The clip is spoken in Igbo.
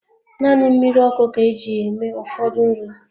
Naanị mmiri ọkụ ka eji eme ụfọdụ nri